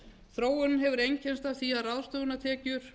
þróunin hefur einkennst af því að ráðstöfunartekjur